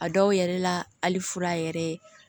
A dɔw yɛrɛ la hali fura yɛrɛ